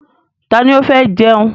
Ta ni ó fẹ́ jẹun?